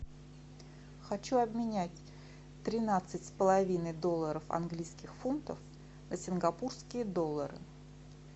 хочу обменять тринадцать с половиной долларов английских фунтов на сингапурские доллары